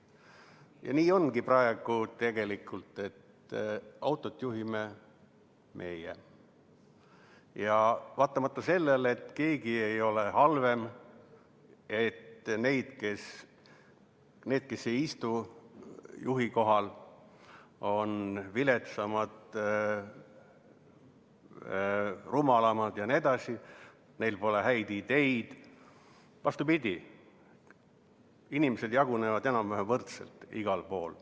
Ja nii ongi praegu, et autot juhime meie, vaatamata sellele, et keegi ei ole halvem, need, kes ei istu juhi kohal, ei ole viletsamad, rumalamad, ei ole nii, et neil pole häid ideid, vastupidi, inimesed jagunevad enam-vähem võrdselt igal pool.